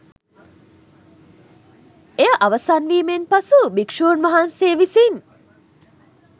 එය අවසන්වීමෙන් පසු භික්ෂූන් වහන්සේ විසින්